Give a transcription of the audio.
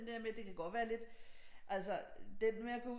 Den der med det kan godt være lidt altså den med at gå